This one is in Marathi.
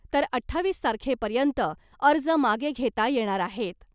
तर अठ्ठावीस तारखेपर्यंत अर्ज मागे घेता येणार आहेत .